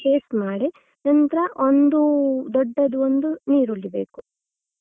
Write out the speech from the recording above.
Paste ಮಾಡಿ ನಂತ್ರ ಒಂದು ದೊಡ್ಡದು ಒಂದು ನೀರುಳ್ಳಿ ಬೇಕು.